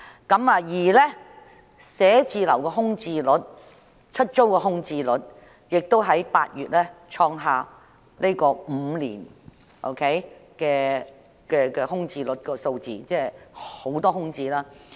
至於寫字樓的空置率，即出租空置率方面，亦於8月份創下5年以來的新高，這意味着有很多單位空置。